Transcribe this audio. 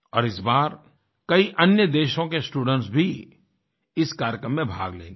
और इस बार कई अन्य देशों के स्टूडेंट्स भी इस कार्यक्रम में भाग लेंगे